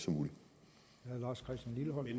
øvrige